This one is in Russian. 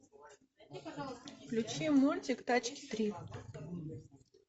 включи мультик тачки три